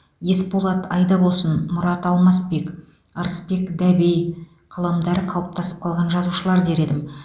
есболат айдабосын мұрат алмасбек ырысбек дәбей қаламдары қалыптасып қалған жазушылар дер едім